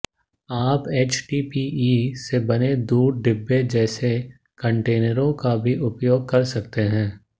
आप एचडीपीई से बने दूध डिब्बे जैसे कंटेनरों का भी उपयोग कर सकते हैं